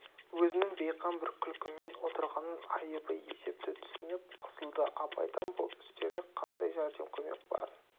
өзінің бейқам бір күлкімен отырғанын айыбы есепті түсініп қысылды абайдан бұл істерлік қандай жәрдем көмек барын